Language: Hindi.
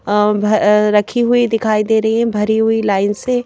अं भ अ रखी हुई दिखाई दे रही है भरी हुई लाइन से--